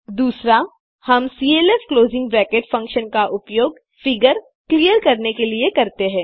दूसरा हम CLF closing bracket function का उपयोग फिगर क्लिअर करने के लिए करते हैं